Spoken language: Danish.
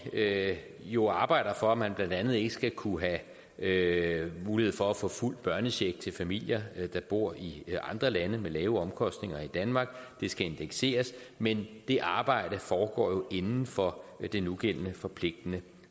jo arbejder for at man blandt andet ikke skal kunne have mulighed for at få fuld børnecheck til familier der bor i andre lande med lavere omkostninger end i danmark det skal indekseres men det arbejde foregår jo inden for det nugældende forpligtende